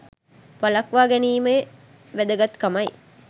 වළක්වා ගැනීමේ වැදගත්කමයි